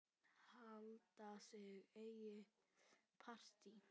Halda sitt eigið partí.